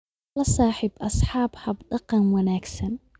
La saaxiib asxaab hab dhaqan wanaagsan